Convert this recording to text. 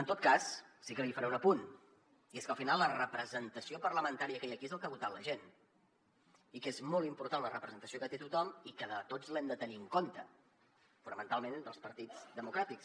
en tot cas sí que li faré un apunt i és que al final la representació parlamentària que hi ha aquí és el que ha votat la gent i és molt important la representació que té tothom i tots l’hem de tenir en compte fonamentalment entre els partits democràtics